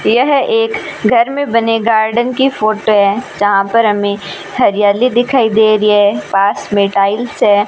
यह एक घर में बने गार्डन की फोटो है जहां पर हमें हरियाली दिखाई दे रही है पास में टाइल्स है।